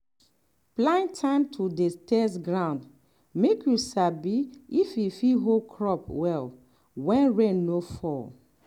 plan time to dey test ground make you sabi if e fit hold crop well when rain no fall.